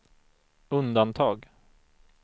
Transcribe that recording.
undantag